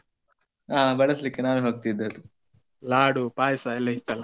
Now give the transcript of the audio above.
ಹಾ ಬಡಸ್ಲಿಕ್ಕೆ ನಾವೇ ಹೋಗ್ತಿದ್ದದ್ದು ಲಾಡು, ಪಾಯ್ಸ ಎಲ್ಲ ಇತ್ತಲ್ಲ.